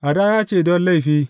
Hadaya ce don laifi.